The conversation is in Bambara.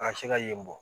A bɛ se ka yen bɔ